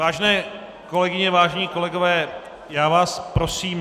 Vážené kolegyně, vážení kolegové, já vás prosím...